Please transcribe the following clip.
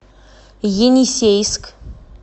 енисейск